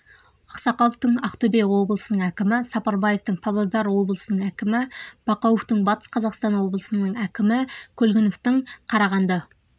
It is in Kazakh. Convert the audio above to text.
ақсақаловтың ақтөбе облысының әкімі сапарбаевтың павлодар облысының әкімі бақауовтың батыс қазақстан облысының әкімі көлгіновтің қарағанды